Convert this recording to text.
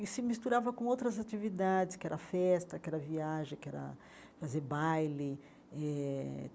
E se misturava com outras atividades, que era festa, que era viagem, que era fazer baile eh.